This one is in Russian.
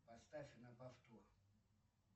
поставь на повтор